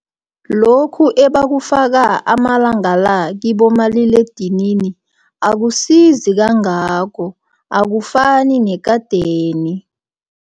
Lokhu ebawufaka amalanga la, kibomaliledinini akusizi kangako, akufani nekadeni.